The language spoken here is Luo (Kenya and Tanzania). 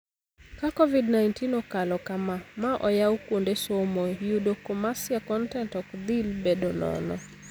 Ka Covid-19 okalo kamaa ma oyaw kuonde somo, yudo commercia kontent ok dhill bedo nono.